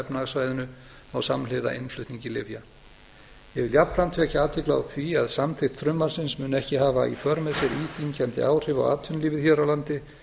efnahagssvæðinu á samhliða innflutningi lyfja ég vil jafnframt vekja athygli á því að samþykkt frumvarpsins mun ekki hafa í för með sér íþyngjandi áhrif á atvinnulífið hér á landi